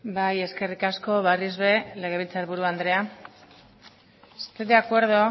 bai eskerri asko berriz ere legebiltzarkide andrea estoy de acuerdo